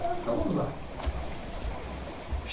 Então vamos lá.